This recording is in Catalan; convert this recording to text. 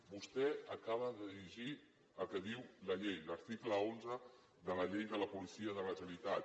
vostè acaba de llegir el que diu la llei l’article onze de la llei de la policia de la generalitat